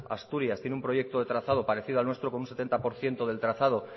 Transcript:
asturias tiene un proyecto de trazado parecido al nuestro con un setenta por ciento del trazado